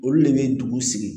Olu de bɛ dugu sigi